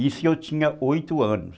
Isso eu tinha oito anos.